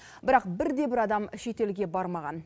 бірақ бір де бір адам шетелге бармаған